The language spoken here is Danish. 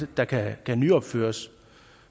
der kan nyopføres